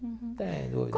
Uhum. Sem dúvida.